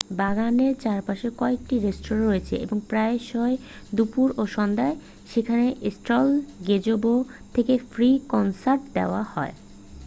বাগানের চারপাশে কয়েকটি রেস্তোঁরা রয়েছে এবং প্রায়শই দুপুর ও সন্ধ্যায় সেখানে সেন্ট্রাল গেজেবো থেকে ফ্রি কনসার্ট দেওয়া হয়